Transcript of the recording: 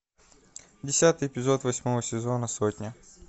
десятый эпизод восьмого сезона сотня